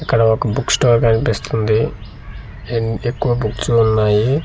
ఇక్కడ ఒక book store కనిపిస్తుంది అండ్ ఎక్కువ బుక్స్ ఉన్నాయి.